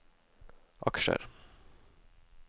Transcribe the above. aksjer